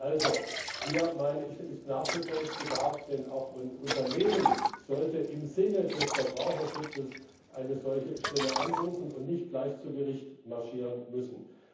Also hier gibt es Nachbesserungsbedarf, denn auch Unternehmen sollten im Sinne des Verbraucherschutzes eine solche Stelle anrufen können und nicht gleich vor Gericht marschieren müssen.